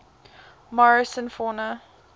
morrison fauna